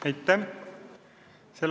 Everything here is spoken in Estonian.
Aitäh!